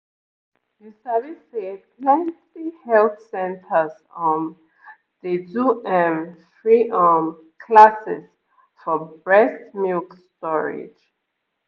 you sabi say plenty health centers um dey do ehm free um classes for breast milk storage